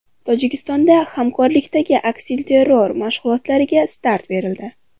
Tojikistonda hamkorlikdagi aksilterror mashg‘ulotlariga start berildi .